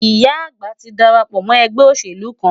Ìyá àgbà ti darapọ̀ mọ́ ẹgbẹ́ òṣèlú kan.